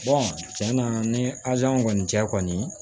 tiɲɛ na ni azan kɔni cɛ kɔni